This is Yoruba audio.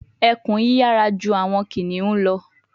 Ekun yiyara ju awọn kiniun lọ